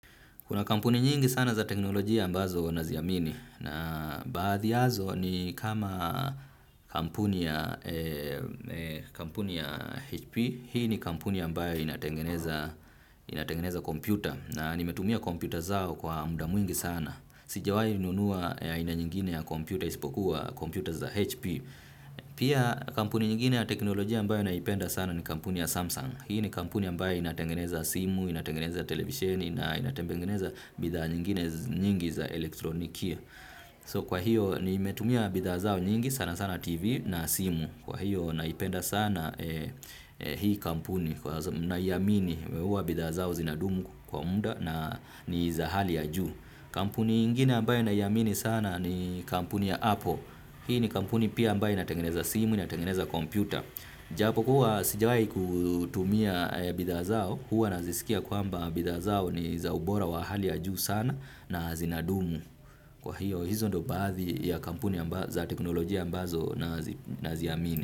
Kuna kampuni nyingi sana za teknolojia ambazo naziamini na baadhi yao ni kama kampuni ya HP, hii ni kampuni ambayo inatengeneza kompyuta na nimetumia kompyuta zao kwa muda mwingi sana. Sijawahi nunua aina nyingine ya kompyuta, ispokuwa kompyuta za HP. Pia kampuni nyingine ya teknolojia ambayo naipenda sana ni kampuni ya Samsung. Hii ni kampuni ambayo inatengeneza simu, inatengeneza televisheni na inatengeneza bidhaa nyingine nyingi za elektronikia So kwa hiyo nimetumia bidha zao nyingi sana sana TV na simu. Kwa hiyo naipenda sana hii kampuni. Naiamini huwa bidhaa zao zinadumu kwa muda na ni za hali ya juu. Kampuni ingine ambayo ninaiamini sana ni kampuni ya Apple. Hii ni kampuni pia ambayo inatengeneza simu, inatengeneza kompyuta. Japo kuwa sijawahi kutumia bidhaa zao, huwa nazisikia kwamba bidhaa zao ni za ubora wa hali ya juu sana na zinadumu. Kwa hiyo, hizo ndizo baadhi ya kampuni za teknolojia ambazo naziamini.